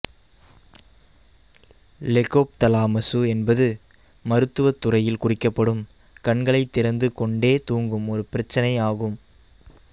லெகோப்தாலமசு என்பது மருத்துவத்துறையில் குறிக்கப்படும் கண்களைத் திறந்து கொண்டே தூங்கும் ஒரு பிரச்சினை ஆகும்